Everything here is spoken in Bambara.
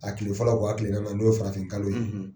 A kile fɔlɔ n' a kile naaninan ye n'o ye farafinkalo ye